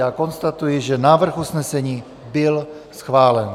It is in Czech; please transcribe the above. Já konstatuji, že návrh usnesení byl schválen.